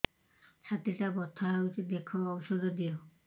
ଛାତି ଟା ବଥା ହଉଚି ଦେଖ ଔଷଧ ଦିଅ